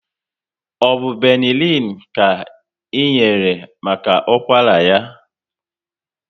Ọbụ Benelin ka ị enyere maka ụkwara ya?